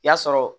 I y'a sɔrɔ